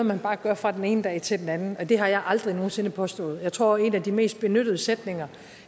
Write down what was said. man bare gør fra den ene dag til den anden og det har jeg aldrig nogen sinde påstået jeg tror at en af de mest benyttede sætninger